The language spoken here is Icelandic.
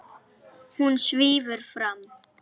Hún svífur fram.